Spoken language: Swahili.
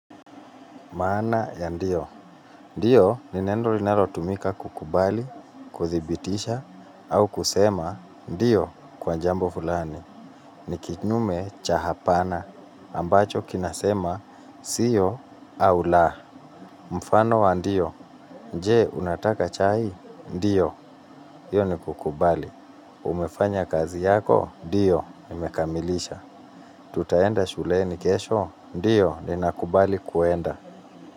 Maana ya ndiyo. Ndiyo ni neno linalotumika kukubali, kuthibitisha au kusema ndiyo kwa jambo fulani. Ni kinyume cha hapana ambacho kinasema sio au la. Mfano wa ndiyo; je? Unataka chai? Ndiyo, hiyo ni kukubali. Umefanya kazi yako? Ndiyo, nimekamilisha. Tutaenda shuleni kesho? Ndiyo, ninakubali kuenda.